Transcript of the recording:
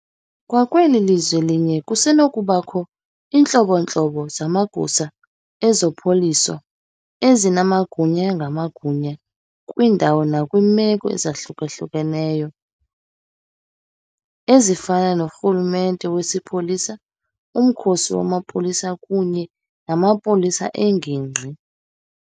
Kwakweli lizwe linye kusenokubakho iintlobo-ntlobo zamagosa ezobupolisa ezinamagunya ngamagunya kwiindawo nakwiimeko ezahlukeneyo, ezifana norhulumente wesipolisa, umkhosi wamapolisa kunye namapolisa engingqi.